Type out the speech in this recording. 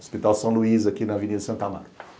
Hospital São Luís, aqui na Avenida Santa Marta.